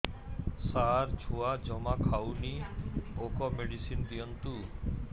ସାର ଛୁଆ ଜମା ଖାଉନି ଭୋକ ମେଡିସିନ ଦିଅନ୍ତୁ